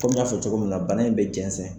Komi n y'a fɔ cogo min na, bana in bɛ jɛnzɛn